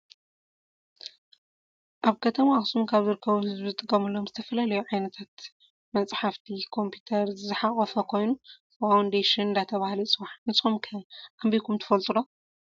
አብ ከተማ አክሱም ካብ ዝርከቡ ህዝቢ ዝጥቀምሎም ዝተፈላለዮ ዓይታት መፅሓ፣ ኮምፒተር ዝሐቀፈ ኮይኑ ፋውነደሽን እናተባለሃለ ይፅዋዕ ። ንሰኩም ከአንቢብኩም ትፈልጥ ዶ?